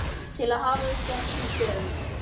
til að hafa uppi á þessum stöðum.